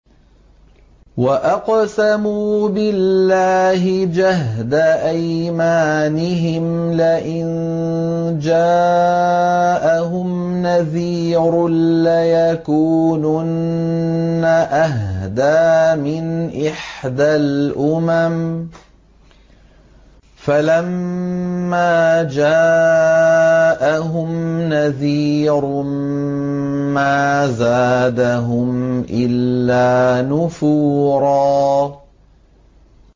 وَأَقْسَمُوا بِاللَّهِ جَهْدَ أَيْمَانِهِمْ لَئِن جَاءَهُمْ نَذِيرٌ لَّيَكُونُنَّ أَهْدَىٰ مِنْ إِحْدَى الْأُمَمِ ۖ فَلَمَّا جَاءَهُمْ نَذِيرٌ مَّا زَادَهُمْ إِلَّا نُفُورًا